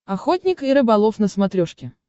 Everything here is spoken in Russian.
охотник и рыболов на смотрешке